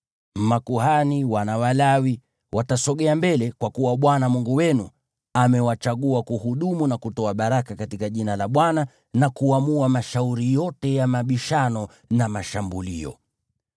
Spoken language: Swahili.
Makuhani, hao wana wa Lawi, watasogea mbele, kwa kuwa Bwana Mungu wenu, amewachagua kuhudumu na kutoa baraka katika jina la Bwana , na kuamua mashauri yote ya mabishano na mashambulio.